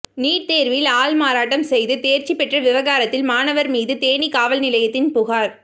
NEET தேர்வில் ஆள்மாறாட்டம் செய்து தேர்ச்சி பெற்ற விவகாரத்தில் மாணவர் மீது தேனி காவல்நிலையத்தில் புகார்